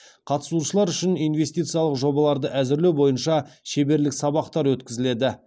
қатысушылар үшін инвестициялық жобаларды әзірлеу бойынша шеберлік сабақтар өткізіледі